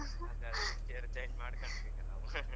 ಅದೇ ಅದೇ next year change ಮಾಡ್ಕನ್ಕ್ ಈಗ ನಾವು .